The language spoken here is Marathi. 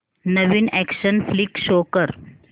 नवीन अॅक्शन फ्लिक शो कर